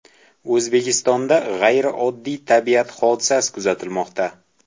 O‘zbekistonda g‘ayrioddiy tabiat hodisasi kuzatilmoqda.